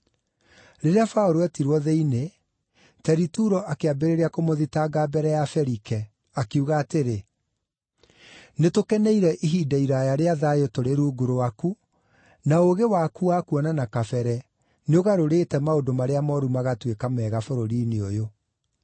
Rĩrĩa Paũlũ eetirwo thĩinĩ, Teritulo akĩambĩrĩria kũmũthitanga mbere ya Felike, akiuga atĩrĩ: “Nĩtũkeneire ihinda iraaya rĩa thayũ tũrĩ rungu rwaku, na ũũgĩ waku wa kuona na kabere nĩũgarũrĩte maũndũ marĩa mooru magatuĩka mega bũrũri-inĩ ũyũ.